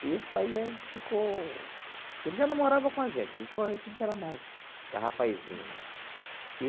E isso aí ficou... porque ele já não morava com a gente, deixou a gente quando a gente era mais rapazinho, né?